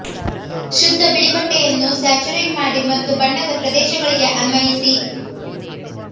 ಶುದ್ಧ ಬಿಳಿ ಬಟ್ಟೆಯನ್ನು ಸ್ಯಾಚುರೇಟ್ ಮಾಡಿ ಮತ್ತು ಬಣ್ಣದ ಪ್ರದೇಶಗಳಿಗೆ ಅನ್ವಯಿಸಿ